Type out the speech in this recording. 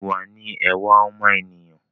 Ìwà ni ẹwà ọmọ ènìyàn